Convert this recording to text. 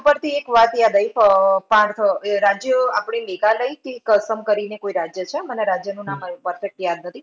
ઈ વાત ઉપરથી એક વાત યાદ આયવી, આહ પાર્થ, એ રાજ્ય આપણે મેઘાલયથી અસમ કરીને કોઈ રાજ્ય છે મને રાજ્યનું નામ perfect યાદ નથી.